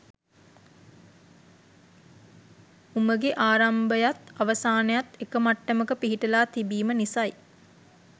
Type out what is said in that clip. උමගෙ ආරම්භයත් අවසානයත් එක මට්ටමක පිහිටලා තිබීම නිසයි